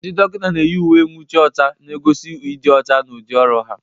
Ndị dọkịnta na-eyi uwe nwuchi ọcha na-egosi ịdị ọcha na udị ọrụ ha.